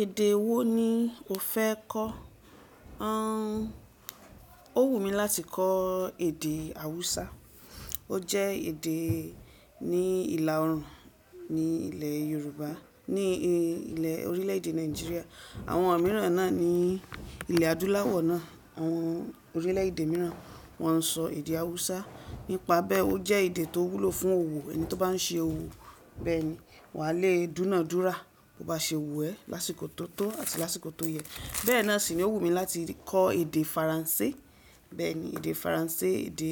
Èdè wo ni o fẹ́ kọ́? An, ó wù mí láti kọ èdè hausa. Ó jẹ́ èdè ní ìlà òrùn, ní ilẹ̀ yorùbá, ní ilẹ̀ orílẹ̀ èdè Nigeria. Àwọn mìíràn náà ní ilẹ̀ adúláwọ̀ náà. Àwọn orílẹ̀ èdè mìíràn wọ́n n sọ èdè hausa. Nípa bẹ́ẹ ó jẹ́ èdè tó wúlò fún òwò. Ẹni tó bá ń se òwò bẹ́ẹ̀ni wà á le dúnàdúrà bó bá ṣe òwò ẹ́ lásìkò tó tọ́ àti lásìkò tó yẹ. Bẹ́ẹ̀ náà sì ni ó wù mí láti kọ èdè faransé. Bẹ́ẹ̀ni èdè faransé, èdè